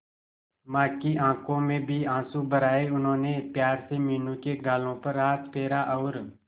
मां की आंखों में भी आंसू भर आए उन्होंने प्यार से मीनू के गालों पर हाथ फेरा और